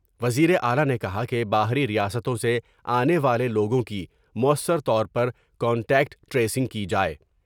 وزیر اعلی نے کہا کہ باہری ریاستوں سے آنے والے لوگوں کی موثر طور پر کانٹیکٹ ٹریسنگ کی جائے ۔